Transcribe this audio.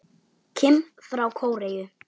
Kim frá Kóreu